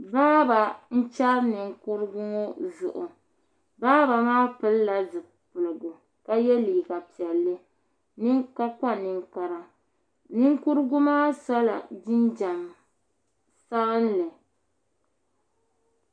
Baaba n chɛri ninkurigu ŋo zuɣu baaba maa pilila zipiligu ka yɛ piɛlli ka kpa ninkpara ninkurigu maa sola jinjɛm palli